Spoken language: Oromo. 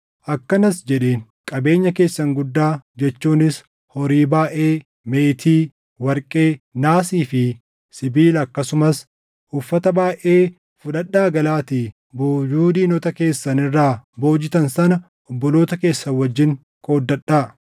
akkanas jedheen; “Qabeenya keessan guddaa jechuunis horii baayʼee, meetii, warqee, naasii fi sibiila akkasumas uffata baayʼee fudhadhaa galaatii boojuu diinota keessan irraa boojitan sana obboloota keessan wajjin qooddadhaa.”